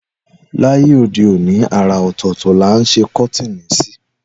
Láyé òdeòní àrà ọ̀tọ̀ọ̀tọ̀ là ń sẹ kọ́tìnì ṣí.